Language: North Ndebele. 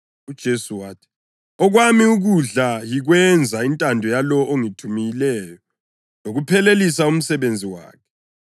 UJesu wathi, “Okwami ukudla yikwenza intando yalowo ongithumileyo lokuphelelisa umsebenzi wakhe.